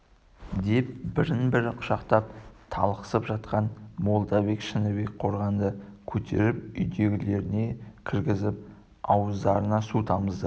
деп бірін бірі құшақтап талықсып жатқан молдабек шыныбек қорғанды көтеріп үйлеріне кіргізіп ауыздарына су тамызды